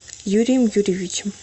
юрием юрьевичем